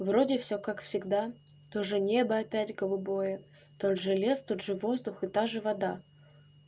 вроде всё как всегда тоже небо опять голубое тот же лес тот же воздух и та же вода